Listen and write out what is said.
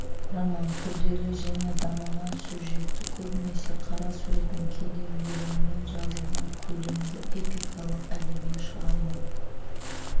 роман күрделі және дамыған сюжетті көбінесе қара сөзбен кейде өлеңмен жазылған көлемді эпикалық әдеби шығарма